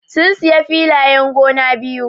Sun siya filayen gona biyu.